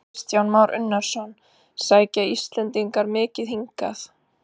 Kristján Már Unnarsson: Sækja Íslendingar mikið hingað?